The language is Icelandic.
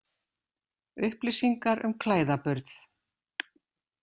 Upplýsingar um klæðaburð.